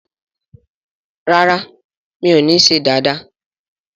ràrá mi'o ní ṣe Dàda